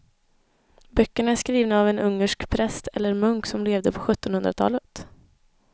Böckerna är skrivna av en ungersk präst eller munk som levde på sjuttonhundratalet.